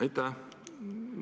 Aitäh!